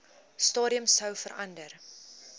stadium sou verander